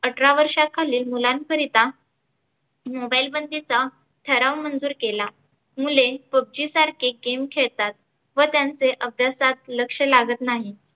अठरा वर्षाखालील मुलांकरीता मोबाईल बंदीचा ठराव मंजूर केला मुले PUBG सारखे game खेळतात व त्यांचे अभ्यासात लक्ष लागत नाही.